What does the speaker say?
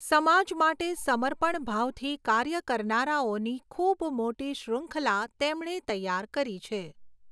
સમાજ માટે સમર્પણ ભાવથી કાર્ય કરનારાઓની ખૂબ મોટી શ્રૃંખલા તેમણે તૈયાર કરી છે.